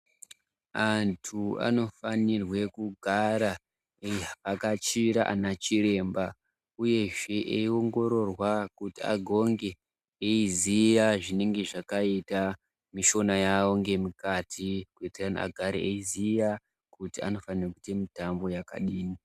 Antu anofanirwe kugara eivhakachira anachiremba uyezve eiongororwa kuti agonge eiziya zvinenge zvakaita mishuna yavo ngemukati kuitane agare eiziya kuti anofanhe kuita mitambo yakadii.